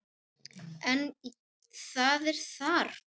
En það er þarft.